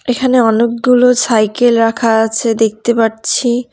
এখানে অনেকগুলো সাইকেল রাখা আছে দেখতে পারছি।